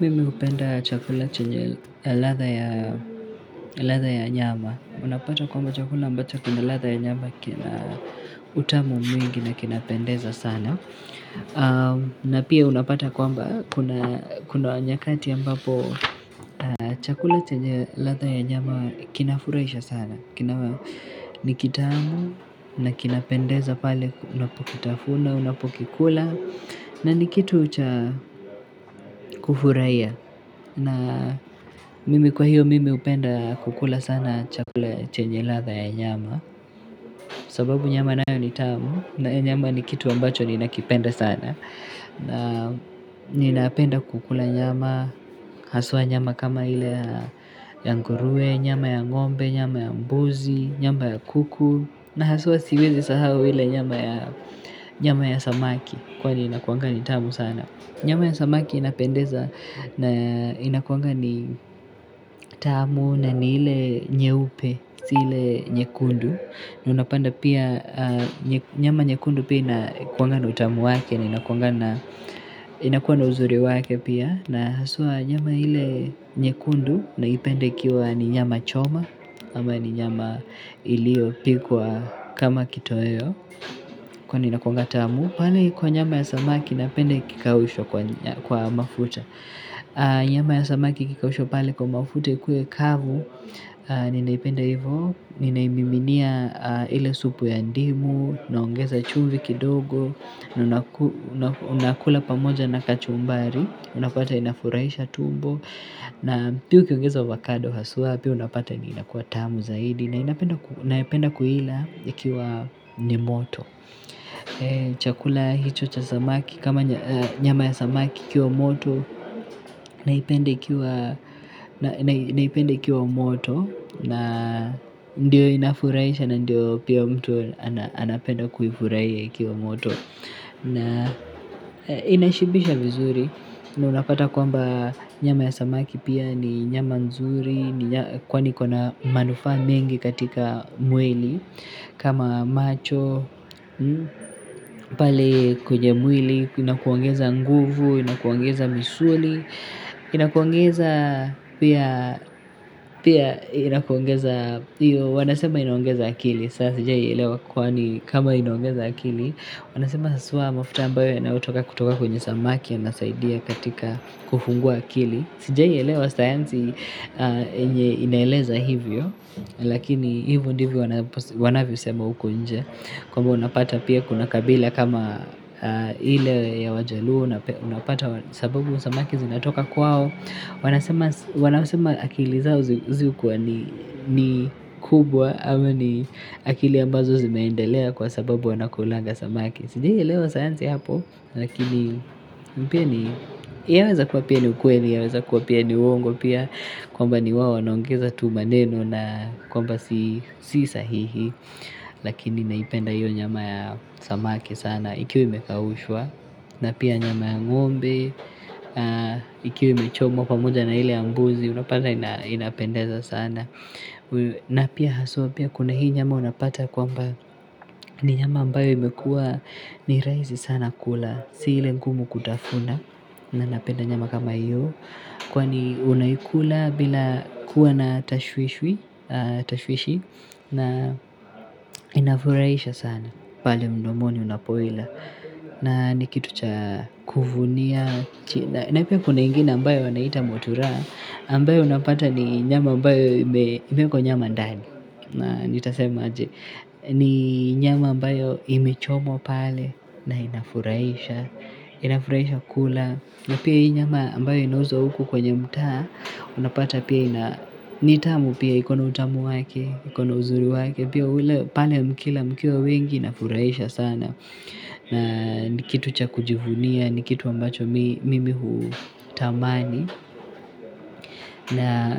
Mimi hupenda chakula chenye ladha ya ladha ya nyama. Unapata kwamba chakula ambacho kina latha ya nyama kina utamu mwingi na kinapendeza sana. Na pia unapata kwamba kuna kuna nyakati ambapo chakula chenye ladha ya nyama kinafurahisha sana. Kinawa nikitamu na kinapendeza pale unapokitafuna, unapokikula na nikitu cha kufurahiya. Na mimi kwa hiyo mimi hupenda kukula sana chakula chenye ladha ya nyama sababu nyama nayo ni tamu na nyama ni kitu ambacho ni nakipenda sana na ninapenda kukula nyama, haswa nyama kama ile ya nguruwe, nyama ya ng'ombe, nyama ya mbuzi, nyama ya kuku na haswa siwezi sahau ile nyama ya nyama ya samaki kwani inakuanga ni tamu sana nyama ya samaki inapendeza na inakuanga ni tamu na ni ile nyeupe, si ile nyekundu. Unapanda pia nyama nyekundu pia inakuanga na utamu wake na inakuanga na inakuwa na uzuri wake pia. Na haswa nyama ile nyekundu na ipenda ikiwa ni nyama choma ama ni nyama iliyo pikwa kama kitoweo. Kwani inakuwanga tamu pale kwa nyama ya samaki napenda ikikaushwa kwa mafuta nyama ya samaki ikikaushwa pale kwa mafuta ikuwe kavu ninaipenda hivo. Ninaimiminia ile supu ya ndimu naongeza chumvi kidogo. Unakula pamoja na kachumbari unapata inafurahisha tumbo na pia ukiongeza ovacado hawsa, pia unapata inakua tamu zaidi, na inapenda napenda kuila ikiwa ni moto chakula hicho cha samaki kama nyama ya samaki kiwa moto naipenda ikiwa moto na ndio inafuraisha na ndio pia mtu anapenda kuifuraia ikiwa moto na inashibisha vizuri na unapata kwamba nyama ya samaki pia ni nyama nzuri kwani iko na manufaa mengi katika mwili kama macho pale kwenye mwili inakuongeza nguvu inakuongeza misuli inakuongeza pia wanasema inaongeza akili saa sijai elewa kwani kama inaongeza akili wanasema haswa mafuta ambayo yanayotoka kutoka kwenye samaki yanasaidia katika kufungua akili sijai elewa sayansi yenye inaeleza hivyo lakini hivo ndivyo wanavyo sema uko nje kwamba unapata pia kuna kabila kama ile ya wajaluo unapata sababu samaki zinatoka kwao wanasema wanasema akili zao zikuwa ni kubwa ama ni akili ambazo zimeendelea kwa sababu wanakulanga samaki sijai elewa sayansi hapo lakini pia ni yaweza kuwa ni ukweli yaweza kuwa ni uwongo pia kwamba ni wao wanaongeza tu maneno na kwamba si sahihi lakini naipenda hiyo nyama ya samaki sana ikiwa imekaushwa na pia nyama ya ng'ombe ikiwa imechomwa pamoja na ile ya mbuzi. Unapanda ina inapendeza sana na pia haswa pia kuna hii nyama unapata kwamba ni nyama ambayo imekua ni rahisi sana kula si ile ngumu kutafuna na napenda nyama kama hiyo kwani unaikula bila kuwa na tashwishwi tashwishi na inafurahisha sana pale mdomoni unapoila na nikitu cha kuvunia na pia kuna ingine ambayo wanaita motura ambayo unapata ni nyama ambayo imeekwa nyama ndani na nitasema aje ni nyama ambayo imechomwa pale na inafurahisha inafurahisha kula na pia hii nyama ambayo inauzwa huku kwenye mtaa unapata pia ina nitamu pia ikona utamu wake, ikona uzuri wake, pia ule pale mkila mkiwa wengi inafurahisha sana. Na ni kitu cha kujivunia, ni kitu ambacho mi mimi huu tamani. Na